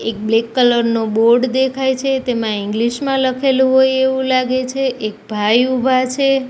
એક black colour નો board દેખાય છે તેમા ઇંગ્લિશ મા લખેલુ હોય એવુ લાગે છે એક ભાઈ ઊભા છે.